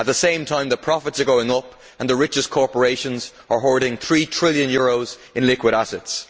At the same time, the profits are going up and the richest corporations are hoarding EUR 3 trillion in liquid assets.